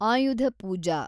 ಆಯುಧ ಪೂಜಾ